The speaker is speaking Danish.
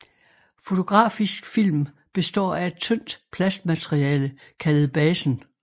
Fotografisk film består af et tyndt plastmateriale kaldet basen